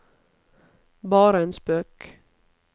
bare en spøk